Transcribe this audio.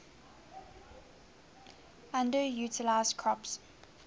underutilized crops